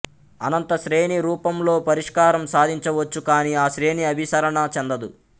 అనంత శ్రేణి రూపంలోపరిష్కారం సాధించవచ్చు కాని ఆ శ్రేణి అభిసరణ చెందదు